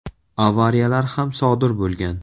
Avariyalar ham sodir bo‘lgan.